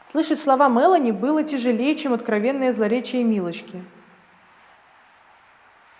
слышать слова мелани было тяжелей чем откровенное злоречие милочки